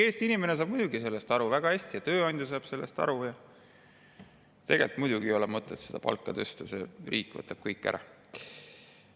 " Eesti inimene saab muidugi sellest väga hästi aru ja tööandja saab sellest aru, et seda palka ei ole tegelikult mõtet tõsta, sest riik võtab kõik ära.